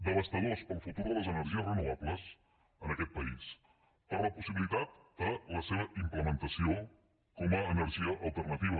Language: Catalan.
devastadors per al futur de les energies renovables en aquest país per a la possibilitat de la seva implementació com a energia alternativa